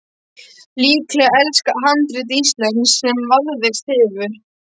Líklega elsta handrit íslenskt sem varðveist hefur.